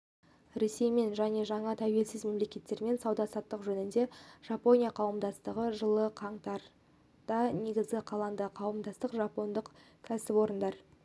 ресеймен және жаңа тәуелсіз мемлекеттермен сауда-саттық жөніндегі жапония қауымдастығы жылы қаңтарда негізі қаланды қауымдастық жапондық кәсіпорындар